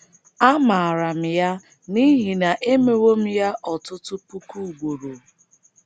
Amaara m ya n’ihi na emewo m ya ọtụtụ puku ugboro. ”